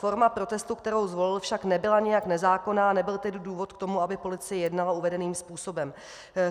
Forma protestu, kterou zvolil, však nebyla nijak nezákonná, a nebyl tedy důvod k tomu, aby policie jednala uvedeným způsobem.